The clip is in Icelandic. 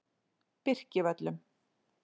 Birkivöllum